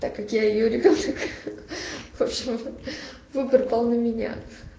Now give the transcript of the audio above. так я её ребёнок вообщем выбор пал на меня